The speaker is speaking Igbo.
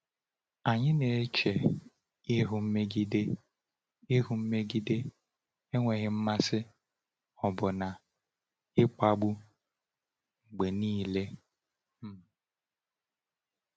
Anyị na-eche ihu mmegide, ihu mmegide, enweghị mmasị, ọbụna ịkpagbu, mgbe niile. um